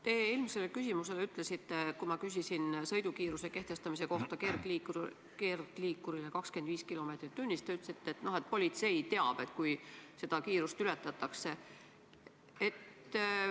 Te eelmisele küsimusele vastates, kui ma küsisin kergliikuri sõidukiiruse kehtestamise kohta, 25 kilomeetrit tunnis, ütlesite, et politsei teab, kui seda kiirust ületatakse.